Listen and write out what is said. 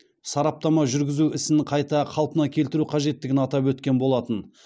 сараптама жүргізу ісін қайта қалпына келтіру қажеттігін атап өткен болатын